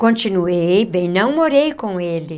Continuei, bem, não morei com ele.